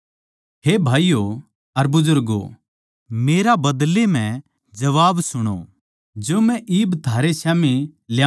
हे भाईयो अर बुजुर्गों मेरा बदले म्ह जबाब सुणो जो मै इब थारै स्याम्ही ल्याऊँ सूं